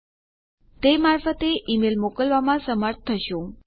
તમે તે મારફતે ઈમેલ મોકલવામાં સમર્થ થશો